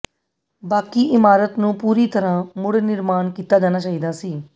ਬਾਕੀ ਇਮਾਰਤ ਨੂੰ ਪੂਰੀ ਤਰ੍ਹਾਂ ਮੁੜ ਨਿਰਮਾਣ ਕੀਤਾ ਜਾਣਾ ਚਾਹੀਦਾ ਸੀ